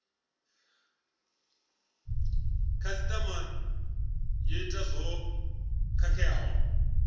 khasitama yo ita zwo khakheaho